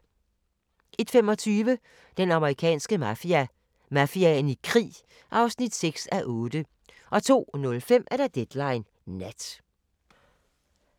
01:25: Den amerikanske mafia: Mafiaen i krig (6:8) 02:05: Deadline Nat